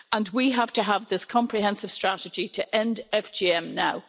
We have to have this comprehensive strategy to end FGM now.